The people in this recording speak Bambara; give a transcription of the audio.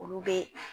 Olu bɛ